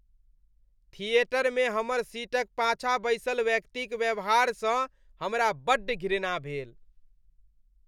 थिएटरमे हमर सीटक पाछाँ बैसल व्यक्तिक व्यवहारसँ हमरा बड्ड घृणा भेल।